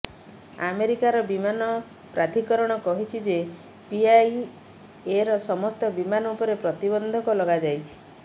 ଆମେରିକାର ବିମାନ ପ୍ରାଧୀକରଣ କହିଛି ଯେ ପିଆଇଏର ସମସ୍ତ ବିମାନ ଉପରେ ପ୍ରତିବନ୍ଧକ ଲଗାଯାଇଛି